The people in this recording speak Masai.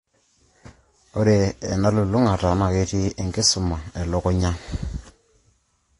Ore ena telulungata naa ketii enkisuma elukunya(empisha e CT scan o/ashu MRI scan).